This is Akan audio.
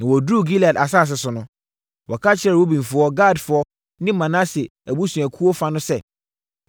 Na wɔduruu Gilead asase so no, wɔka kyerɛɛ Rubenfoɔ, Gadfoɔ ne Manase abusuakuo fa no sɛ,